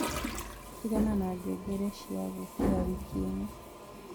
tigana na ngengere cĩa gũũkĩra wiki ino